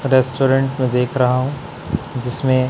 restaurant मैं देख रहा हूं जिसमें--